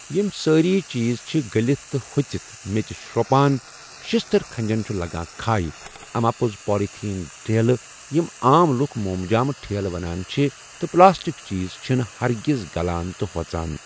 یِم سٲری چیٖز چھِ گٔلِتھ تہٕ ہۄژِتھ میٚژِ شرٛۄپان شِشتٕر کھَنجَن چھُ لَگان کھَے اَماپوٚز پالتھیٖن ٹھیلہٕ یِم عام لُکھ مومجام ٹھیلہٕ وَنان چھِ تہٕ پٕلاسٹِک چیٖز چھِنہٕ ہَرگِز گَلان تہٕ ہۄژان۔